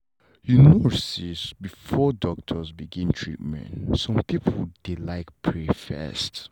you know say before doctor begin treatment some people dey like pray first